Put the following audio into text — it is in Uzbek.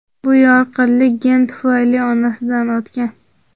Bu yorqinlik gen tufayli onasidan o‘tgan.